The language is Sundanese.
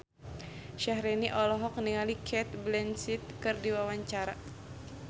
Syahrini olohok ningali Cate Blanchett keur diwawancara